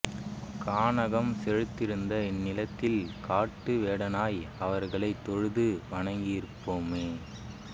கானகம் செழித்திருந்த இந்நிலத்தில் காட்டு வேடனாய் அவர்களைத் தொழுது வணங்கியிருப்போமே